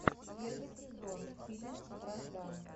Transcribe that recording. первый сезон фильм вражда